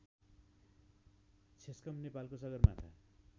छेस्कम नेपालको सगरमाथा